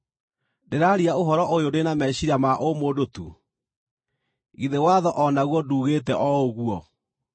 Ndĩraaria ũhoro ũyũ ndĩ na meciiria ma ũ-mũndũ tu? Githĩ Watho o naguo nduugĩte o ũguo?